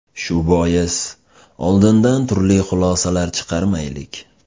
Shu bois, oldindan turli xulosalar chiqarmaylik.